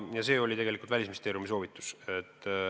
Ja see oli tegelikult Välisministeeriumi soovitus.